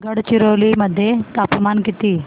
गडचिरोली मध्ये तापमान किती